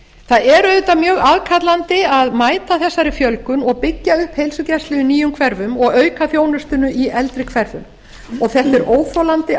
það er auðvitað mjög aðkallandi að mæta þessari fjölgun og byggja upp heilsugæslu í nýjum hverfum og auka þjónustuna í eldri hverfum og þetta er óþolandi